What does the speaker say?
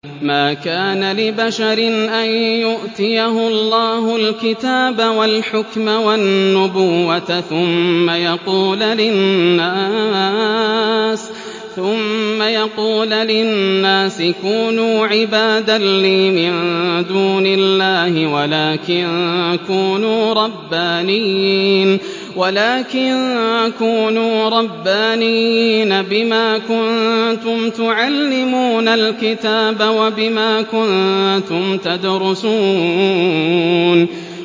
مَا كَانَ لِبَشَرٍ أَن يُؤْتِيَهُ اللَّهُ الْكِتَابَ وَالْحُكْمَ وَالنُّبُوَّةَ ثُمَّ يَقُولَ لِلنَّاسِ كُونُوا عِبَادًا لِّي مِن دُونِ اللَّهِ وَلَٰكِن كُونُوا رَبَّانِيِّينَ بِمَا كُنتُمْ تُعَلِّمُونَ الْكِتَابَ وَبِمَا كُنتُمْ تَدْرُسُونَ